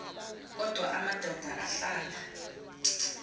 kodwa amadoda ahlala